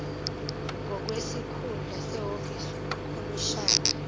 ngokwesikhundla sehhovisi ukhomishina